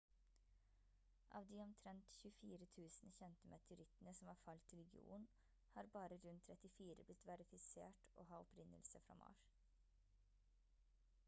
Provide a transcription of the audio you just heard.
av de omtrent 24 000 kjente meteorittene som har falt til jorden har bare rundt 34 blitt verifisert å ha opprinnelse fra mars